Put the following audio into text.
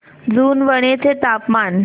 जुनवणे चे तापमान